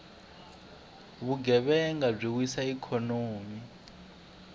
vugevhenga byi wisa ikhonomi